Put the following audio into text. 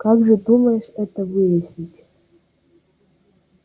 как же думаешь это выяснить